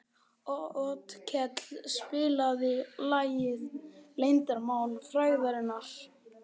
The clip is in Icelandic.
Otkell, spilaðu lagið „Leyndarmál frægðarinnar“.